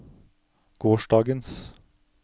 gårsdagens